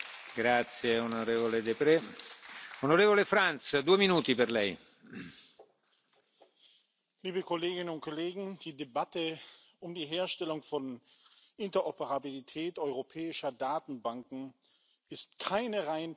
Herr Präsident, liebe Kolleginnen und Kollegen! Die Debatte um die Herstellung von Interoperabilität europäischer Datenbanken ist keine rein technische.